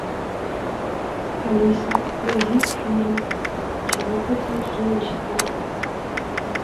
алиса найди фильм чего хотят женщины